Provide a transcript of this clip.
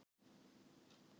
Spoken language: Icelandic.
Trúlega um fimm metra háir.